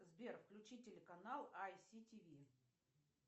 сбер включи телеканал ай си тиви